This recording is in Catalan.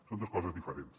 són dos coses diferents